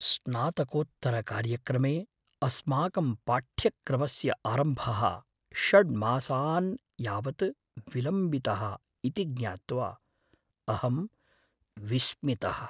स्नातकोत्तरकार्यक्रमे अस्माकं पाठ्यक्रमस्य आरम्भः षड् मासान् यावत् विलम्बितः इति ज्ञात्वा अहं विस्मितः।